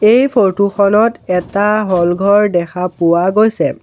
এই ফটোখনত এটা হল ঘৰ দেখা পোৱা গৈছে।